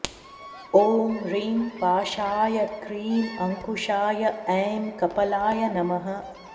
ॐ ह्रीं पाशाय क्रीं अङ्कुशाय ऐं कपालाय नमः